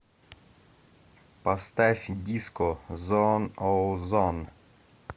поставь диско зон оу зон